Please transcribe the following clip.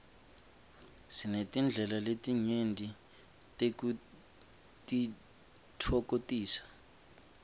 sinetindlela letinyenti tekutitfokotisa